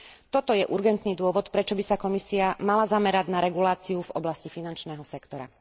Toto je urgentný dôvod, prečo by sa Komisia mala zamerať na reguláciu v oblasti finančného sektora.